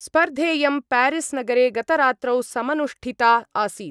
स्पर्धेयं प्यारिस्नगरे गतरात्रौ समनुष्ठिता आसीत्।